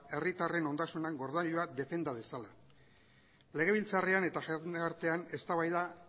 herritarren ondasunean gordailua defenda dezala legebiltzarrean eta jendartean eztabaida